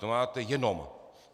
To máte jenom.